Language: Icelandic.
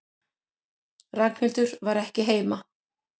Ragnhildur var ekki heima.